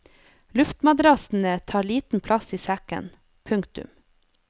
Lurtmadrassene tar liten plass i sekken. punktum